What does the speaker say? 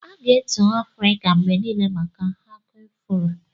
A ga-etu Afrịka mgbe niile maka Aku afuro.